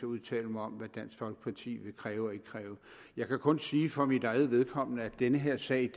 udtale mig om hvad dansk folkeparti vil kræve og ikke kræve jeg kan kun sige for mit eget vedkommende at den her sag